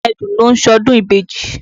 Àwọn ẹdun ló ń ṣọdún ìbejì.